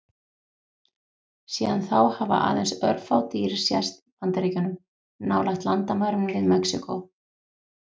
Síðan þá hafa aðeins örfá dýr sést í Bandaríkjunum, nálægt landamærunum við Mexíkó.